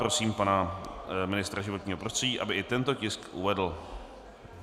Prosím pana ministra životního prostředí, aby i tento tisk uvedl.